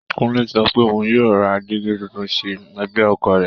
Kúnlé sọ pé òun yóò ra dígí tuntun sí ẹ̀gbẹ́ ọkọ̀ rẹ̀